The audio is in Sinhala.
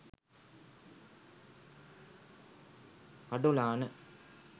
kadolana